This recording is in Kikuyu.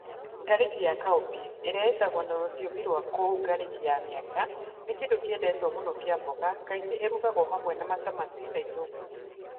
Ngarĩki ya cowpeas, ĩrĩa ĩĩtagwo na rũthiomi rwa kũu ngarĩki ya mĩanga, nĩ kĩndũ kĩendetwo mũno kĩa mboga, kaingĩ ĩrugagio hamwe na matamati na itũngũrũ.